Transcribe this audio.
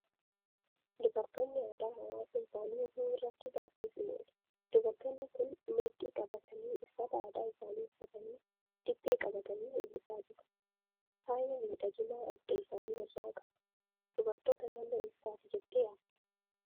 Dubartoonni aadaa hawaasa isaanii eeguu irratti baay'ee cimoodha. Dubartoonni kun meexxii qabatanii, uffata aadaa isaanii uffatanii, dibbee qabatanii weellisaa jiru. Faaya miidhaginaa adda isaanii irraa qabu. Dubartoota naannoo eessaati jettee yaadda?